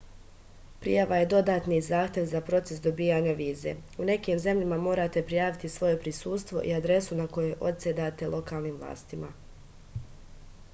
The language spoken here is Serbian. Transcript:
prijava je dodatni zahtev za proces dobijanja vize u nekim zemljama morate prijaviti svoje prisustvo i adresu na kojoj odsedate lokalnim vlastima